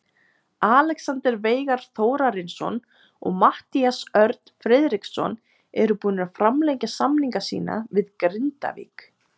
Alexander Veigar Þórarinsson og Matthías Örn Friðriksson eru búnir að framlengja samninga sína við Grindavík.